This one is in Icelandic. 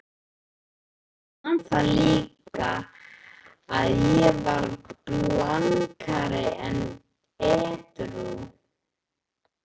Ég man það líka, að ég var blankandi edrú.